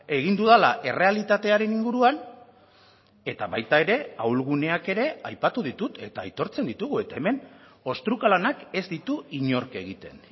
egin dudala errealitatearen inguruan eta baita ere ahulguneak ere aipatu ditut eta aitortzen ditugu eta hemen ostruka lanak ez ditu inork egiten